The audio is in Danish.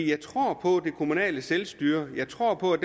jeg tror på det kommunale selvstyre jeg tror på at